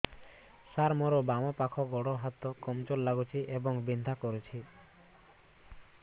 ସାର ମୋର ବାମ ପାଖ ଗୋଡ ହାତ କମଜୁର ଲାଗୁଛି ଏବଂ ବିନ୍ଧା କରୁଛି